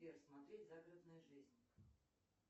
сбер смотреть загородная жизнь